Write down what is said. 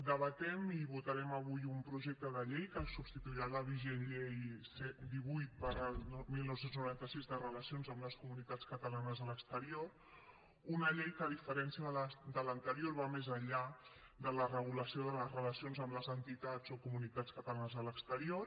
debatem i votarem avui un projecte de llei que substituirà la vigent llei divuit dinou noranta sis de relacions amb les comunitats catalanes a l’exterior una llei que a diferencia de l’anterior va més enllà de la regulació de les relacions amb les entitats o comunitats catalanes a l’exterior